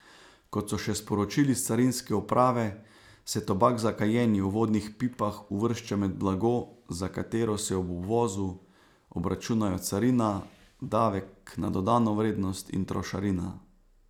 Kot so še sporočili s carinske uprave, se tobak za kajenje v vodnih pipah uvršča med blago, za katero se ob uvozu obračunajo carina, davek na dodano vrednost in trošarina.